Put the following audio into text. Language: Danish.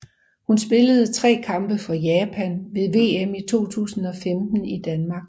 Hun spillede tre kampe for Japan ved VM i 2015 i Danmark